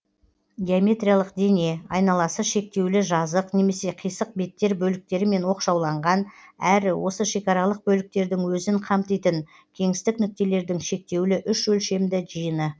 геометриялық дене айналасы шектеулі жазық немесе қисық беттер бөліктерімен оқшауланған әрі осы шекаралық бөліктердің өзін қамтитын кеңістік нүктелердің шектеулі үш өлшемді жиыны